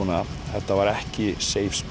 þetta var ekki